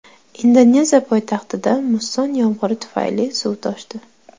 Indoneziya poytaxtida musson yomg‘iri tufayli suv toshdi.